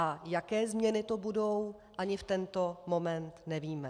A jaké změny to budou, ani v tento moment nevíme.